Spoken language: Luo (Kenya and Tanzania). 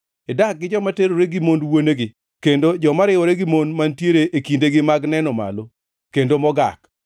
Idak gi joma terore gi mond wuonegi; kendo joma riwore gi mon mantiere e kindegi mag neno malo kendo mogak.